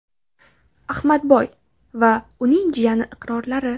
Ahmadboy va uning jiyani iqrorlari.